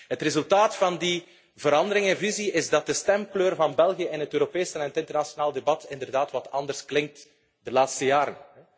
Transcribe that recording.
Het resultaat van die verandering in visie is dat de stemkleur van België in het Europese en internationale debat inderdaad wat anders klinkt de laatste jaren.